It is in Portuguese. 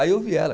Aí eu vi ela.